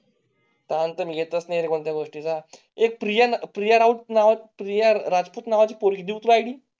त्यानंतर येतच नाही. कोणत्या गोष्टी चा एक प्रिया प्रिया राऊत नावा च्या राजपूत नावा ची पोळी दिवसाआधी.